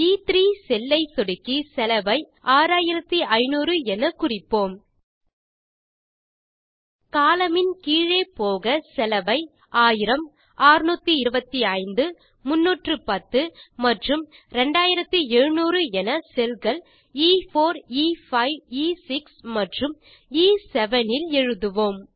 எ3 cell ஐ சொடுக்கி செலவை 6500 என குறிப்போம் கோலம்ன் மில் கீழே போக செலவை 1000 625 310 மற்றும் 2700 என செல் கள்E4E5E6 மற்றும் எ7 இல் எழுதுவோம்